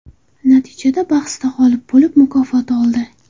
Natijada bahsda g‘olib bo‘lib, mukofot oldi.